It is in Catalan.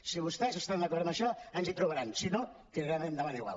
si vostès estan d’acord amb això ens hi trobaran si no tirarem endavant igual